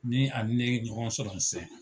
Ni a ni ne ye ɲɔgɔn sɔrɔ nin sen na.